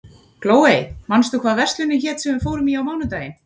Glóey, manstu hvað verslunin hét sem við fórum í á mánudaginn?